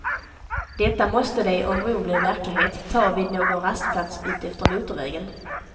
Detta måste de, om bron blir verklighet, ta vid någon rastplats utefter motorvägen.